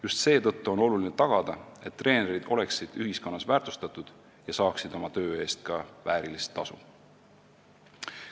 Just seetõttu on oluline tagada, et treenerid oleksid ühiskonnas väärtustatud ja saaksid oma töö eest ka väärilist tasu.